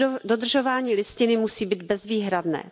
Dodržování listiny musí být bezvýhradné.